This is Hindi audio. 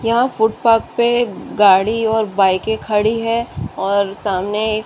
यहाँ फुटपाथ पे गाड़ी और बाइके खड़ी है और सामने एक--